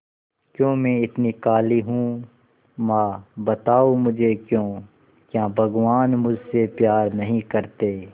क्यों मैं इतनी काली हूं मां बताओ मुझे क्यों क्या भगवान मुझसे प्यार नहीं करते